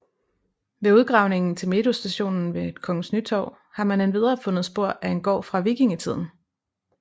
Ved udgravningen til metrostationen ved Kongens Nytorv har man endvidere fundet spor af en gård fra vikingetiden